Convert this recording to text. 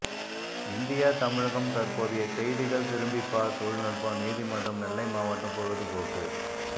India தமிழகம் தற்போதைய செய்திகள் திரும்பிபார் தொழில்நுட்பம் நீதிமன்றம் நெல்லை மாவட்டம் பொழுதுபோக்கு